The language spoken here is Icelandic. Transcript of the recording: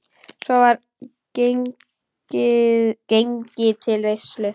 Svo var gengið til veislu.